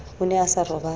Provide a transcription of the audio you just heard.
o ne a sa robale